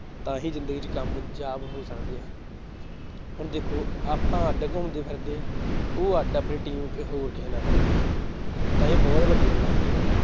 ਤਾਂ ਹੀ ਜ਼ਿੰਦਗੀ ਚ ਕਾਮਯਾਬ ਹੋ ਸਕਦੇ ਆ ਹੁਣ ਦੇਖੋ ਆਪਾਂ ਅੱਢ ਘੁੰਮਦੇ ਫਿਰਦੇ ਹਾਂ ਉਹ ਅੱਢ ਆਪਣੀ team ਹੋਰ ਕਿਸੇ ਨਾ ਫਿਰਦੀ ਹੈ ਤਾਂ ਇਹ ਬਹੁਤ ਵੱਡੀਆਂ ਗ਼ਲਤੀਆਂ ਹੈ